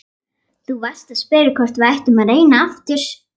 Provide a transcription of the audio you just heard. Þú varst að spyrja hvort við ættum að reyna aftur.